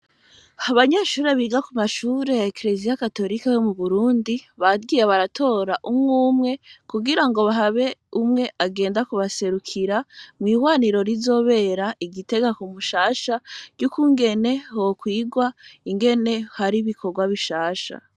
Abanyeshure biga kumashure ya Kiliziya Katolika mu Burundi, bagiye baratora umwumwe, kugira ngo habe umwe agenda kubaserukira mw'ihwaniro rizobera i Gitega ku Mushasha, ry'ukungene hokwigwa ingene haba ibikorwa bishasha.